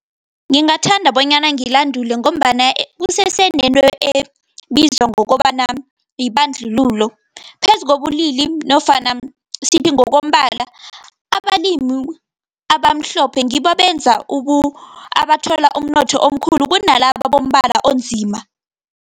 Ngingathanda bonyana ngilandula, ngombana kusesenento ebizwa ngokobana yibandlululo, phezu kobulili nofana sithi ngokombala. Abalimi abamhlophe ngibo abathola umnotho omkhulu, kunalaba bombala onzima.